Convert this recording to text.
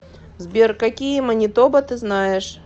сбер какие манитоба ты знаешь